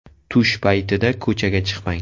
Tush paytida ko‘chaga chiqmang!